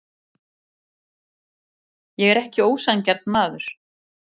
Ég er ekki ósanngjarn maður.